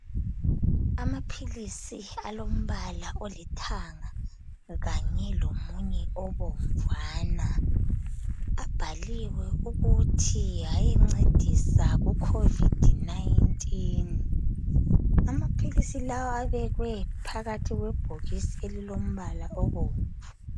Amaphilisi alombala olithanga kanye lomunye obomvana abhaliwe ukuthi ayencedisa kucovid 19.Amaphilisi lawa abekwe phakathi kwebhokisi elilombala obomvu.